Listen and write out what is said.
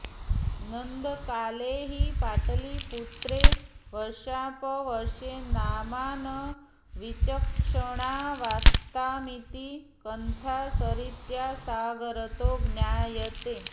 नन्दकाले हि पाटलीपुत्रे वर्षांपवर्ष नामान विचक्षणावास्तामिति कंथासरित्सागरतो ज्ञायते